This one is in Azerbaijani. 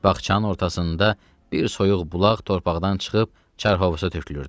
Bağçanın ortasında bir soyuq bulaq torpaqdan çıxıb çarhovoza tökülürdü.